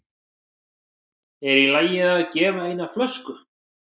Er í lagi að gefa eina flösku?